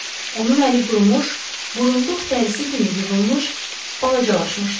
Onun əli qurumuş, burunduq dərisi kimi yığılmış, balacalaşmışdı.